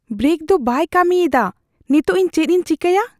Brake ᱫᱚ ᱵᱟᱭ ᱠᱟᱹᱢᱤᱭᱮᱫᱼᱟ ᱾ ᱱᱮᱛᱚᱜ, ᱤᱧ ᱪᱮᱫ ᱤᱧ ᱪᱮᱠᱟᱭᱟ ?